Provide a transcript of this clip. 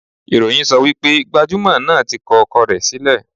Ìròyìn sọ wípé gbajúmò náà tí kọ ọkọ rẹ̀ sílẹ̀.